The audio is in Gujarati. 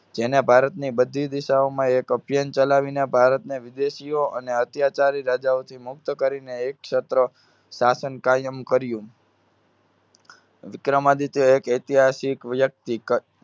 જેને ભારતની બધી દિશાઓમાં એક અભિયાન ચલાવીને ભારતને વિદેશીઓ અને અત્યાચારી રાજાઓથી મુક્ત કરીને એકસત્ર શાસન કાયમ કર્યું. વિક્રમાદિત્ય એક ઐતિહાસિક વ્યક્તિ ક~